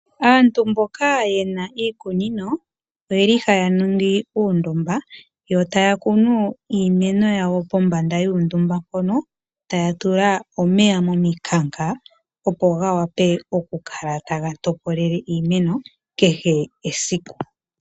Aantu mboka yena iikunino oyeli haya ningi uundumba yo taya kunu iimeno yawo kombanda yuundumba hoka, taya tula omeya momikanka opo ga wape okukala taga topolele iimeno kehe esiku.